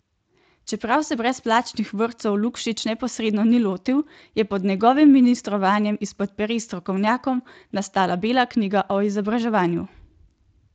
Čeprav se brezplačnih vrtcev Lukšič neposredno ni lotil, je pod njegovim ministrovanjem izpod peres strokovnjakov nastala bela knjiga o izobraževanju.